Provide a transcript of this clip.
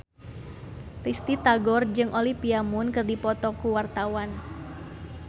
Risty Tagor jeung Olivia Munn keur dipoto ku wartawan